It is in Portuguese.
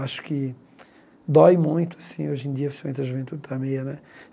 Acho que dói muito assim, hoje em dia, principalmente a juventude está meia né.